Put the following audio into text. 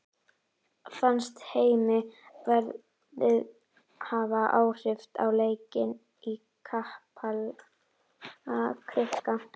Fannst Heimi veðrið hafa áhrif á leikinn í Kaplakrika?